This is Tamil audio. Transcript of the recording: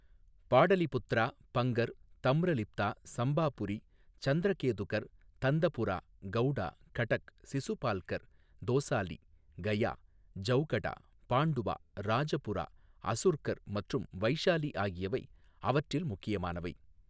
பாடலிபுத்ரா, பங்கர், தம்ரலிப்தா, சம்பாபுரி, சந்திரகேதுகர், தந்தபுரா, கௌடா, கடக், சிசுபால்கர், தோசாலி, கயா, ஜௌகடா, பாண்டுவா, ராஜபுரா, அசுர்கர் மற்றும் வைஷாலி ஆகியவை அவற்றில் முக்கியமானவை.